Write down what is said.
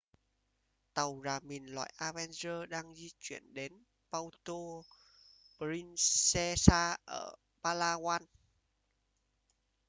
tàu rà mìn loại avenger đang di chuyển đến puerto princesa ở palawan